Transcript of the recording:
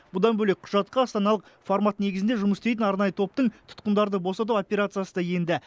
бұдан бөлек құжатқа астаналық формат негізінде жұмыс істейтін арнайы топтың тұтқындарды босату операциясы да енді